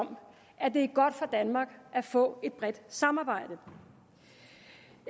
om at det er godt for danmark at få et bredt samarbejde